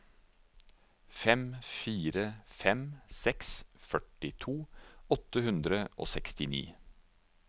fem fire fem seks førtito åtte hundre og sekstini